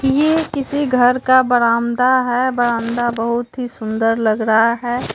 ये किसी घर का बरान्दा है बरान्दा बहोत ही सुंदर लग रहा है।